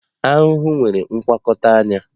Aṅu nwere ngwakọta anya